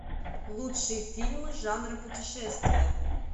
лучшие фильмы жанра путешествия